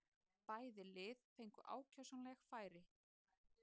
Bæði lið fengu ákjósanleg færi.